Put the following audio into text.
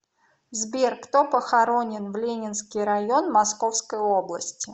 сбер кто похоронен в ленинский район московской области